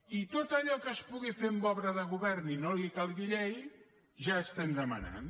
i tot allò que es pugui fer amb obra de govern i no li calgui llei ja ho estem demanant